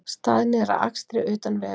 Staðnir að akstri utan vega